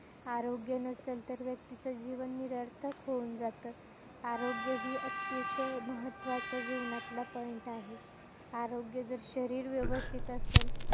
आरोग्य नसेल तर व्यक्तीचं जीवन निरर्थक होऊन जातं. आरोग्य हे अतिशय महत्वाचा जीवनातला point आहे. आरोग्य जर शरीर व्यवस्थित असल,